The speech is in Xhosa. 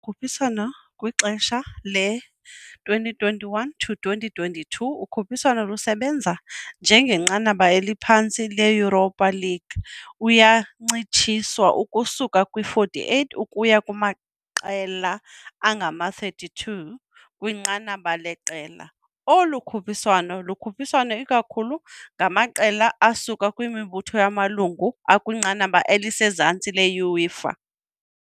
ukhuphiswano kwixesha le-2021-22, ukhuphiswano lusebenza njengenqanaba eliphantsi le-Europa League, eyancitshiswa ukusuka kwi-48 ukuya kumaqela angama-32 kwinqanaba leqela. Olu khuphiswano lukhuphiswa ikakhulu ngamaqela asuka kwimibutho yamalungu akwinqanaba elisezantsi le-UEFA.